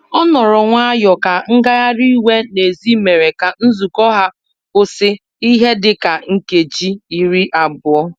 Ọ nọrọ nwayọ ka ngagharị iwe n'èzí mere ka nzukọ ha kwụsị ihe dị ka nkeji iri abụọ